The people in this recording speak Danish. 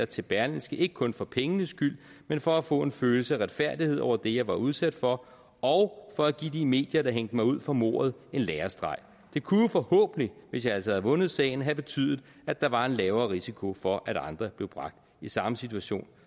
til berlingske ikke kun for pengenes skyld men for at få en følelse af retfærdighed over det jeg var udsat for og for at give de medier der hængte mig ud for mordet en lærestreg det kunne jo forhåbentligt hvis jeg altså havde vundet sagen have betydet at der var en lavere risiko for at andre blev bragt i samme situation